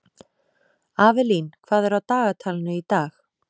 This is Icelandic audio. Avelín, hvað er á dagatalinu í dag?